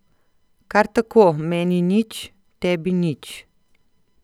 Kar tako, meni nič, tebi nič.